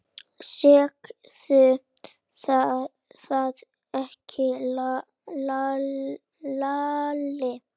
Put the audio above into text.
Segðu það ekki Lalli!